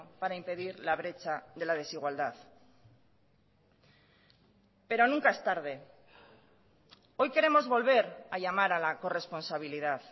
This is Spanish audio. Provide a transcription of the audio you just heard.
para impedir la brecha de la desigualdad pero nunca es tarde hoy queremos volver a llamar a la corresponsabilidad